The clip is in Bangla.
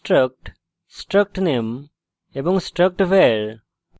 struct struct name এবং struct var;